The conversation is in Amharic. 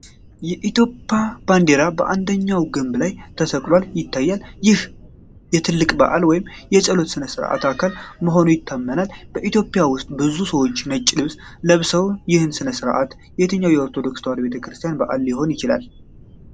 የኢትዮጵያ ባንዲራ በአንደኛው ግንብ ላይ ተሰቅሎ ይታያል፤ ይህም የትልቅ በዓል ወይም የጸሎት ሥነ-ሥርዓት አካል መሆኑን ያመለክታል። በኢትዮጵያ ውስጥ ብዙ ሰዎች ነጭ ልብስ ለብሰው ይህ ሥነ-ሥርዓት፣ የትኛው የኦርቶዶክስ ተዋህዶ ቤተክርስቲያን በዓል አካል ሊሆን ይችላል?